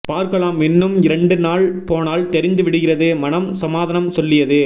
பார்க்கலாம் இன்னும் ரெண்டு நாள் போனால் தெரிந்து விடுகிறது மனம் சமாதானம் சொல்லியது